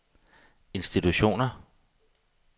institutioner